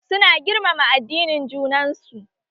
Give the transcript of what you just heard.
Su na girmama addinin junan su